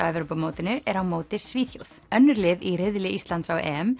Evrópumótinu er á móti Svíþjóð önnur lið í riðli Íslands á